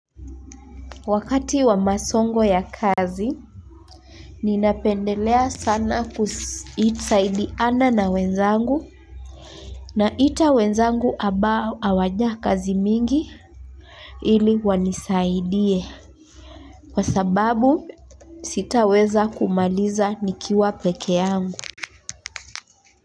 Wakati wa msongo wa kazi, ninapendelea sana kusaidiana na wenzangu na wenzangu waliopewa kazi nyingi ili wanisaidie. Kwa sababu sitaweza kumaliza nikiwa peke yangu.